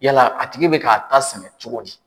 Yala a tigi bɛ k'a ta sɛnɛ cogo di?